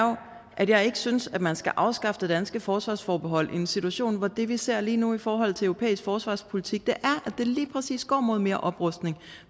at jeg ikke synes at man skal afskaffe det danske forsvarsforbehold i en situation hvor det vi ser lige nu i forhold til europæisk forsvarspolitik er det lige præcis går mod mere oprustning